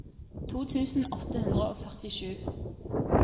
to tusen åtte hundre og førtisju